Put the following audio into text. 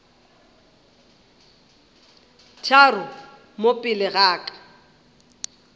tharo mo pele ga ka